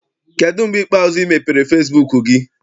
Kedụ mgbe ikpeazụ ị mepere fesibuuku gị?